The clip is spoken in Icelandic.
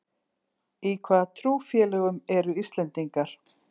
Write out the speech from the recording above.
Í hvaða trúfélögum eru Íslendingar?